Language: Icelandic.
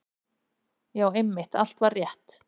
Já, einmitt, allt var rétt.